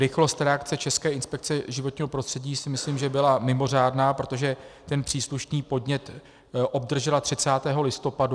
Rychlost reakce České inspekce životního prostředí si myslím, že byla mimořádná, protože ten příslušný podnět obdržela 30. listopadu.